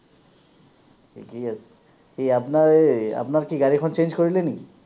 ঠিকেই আছে। কি আপোনাৰ এই, আপোনাৰ কি গাড়ীখন change কৰিলে নেকি?